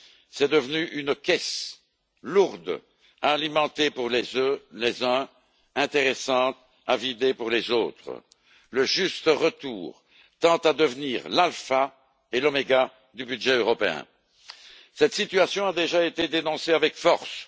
C'est devenu une caisse, lourde à alimenter pour les uns, intéressante à vider pour les autres. Le juste retour tend à devenir l'alpha et l'oméga du budget européen. Cette situation a déjà été dénoncée avec force.